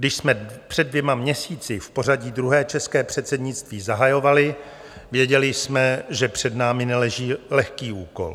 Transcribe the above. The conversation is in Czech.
Když jsme před dvěma měsíci v pořadí druhé české předsednictví zahajovali, věděli jsme, že před námi neleží lehký úkol.